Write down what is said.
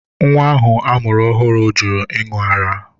Nwa ahụ amụrụ ọhụrụ jụrụ ịṅụ ara.